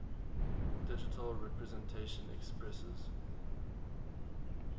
digital representation expresses